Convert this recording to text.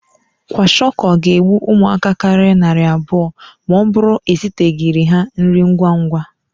Kwashiọkọ ga-egbu ụmụaka karịrị narị abụọ ma ọ bụrụ eziteghịrị ha nri ngwa ngwa.